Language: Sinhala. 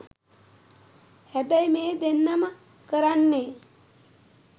හැබැයි මේ දෙන්නම කරන්නේ